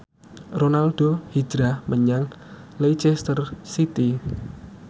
Ronaldo hijrah menyang Leicester City